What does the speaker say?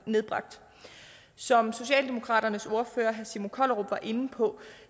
nedbragt som socialdemokraternes ordfører herre simon kollerup var inde på